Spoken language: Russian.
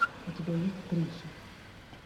у тебя есть криша